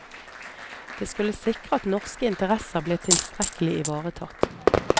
Det skulle sikre at norske interesser ble tilstrekkelig ivaretatt.